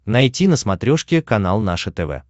найти на смотрешке канал наше тв